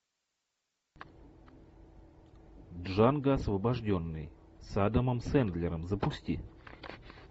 джанго освобожденный с адамом сэндлером запусти